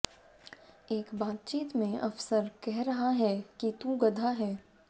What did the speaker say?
एक बातचीत में अफसर कह रहा है कि तू गधा है